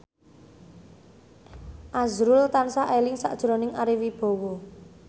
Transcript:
azrul tansah eling sakjroning Ari Wibowo